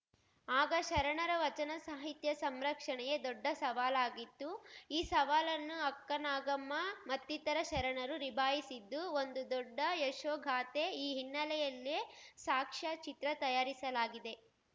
ಆಗ ಶರಣರ ವಚನ ಸಾಹಿತ್ಯ ಸಂರಕ್ಷಣೆಯೇ ದೊಡ್ಡ ಸವಾಲಾಗಿತ್ತು ಈ ಸವಾಲನ್ನು ಅಕ್ಕನಾಗಮ್ಮ ಮತ್ತಿತರ ಶರಣರು ನಿಭಾಯಿಸಿದ್ದು ಒಂದು ದೊಡ್ಡ ಯಶೋಗಾಥೆ ಈ ಹಿನ್ನೆಲೆಯಲ್ಲೇ ಸಾಕ್ಷ್ಯಚಿತ್ರ ತಯಾರಿಸಲಾಗಿದೆ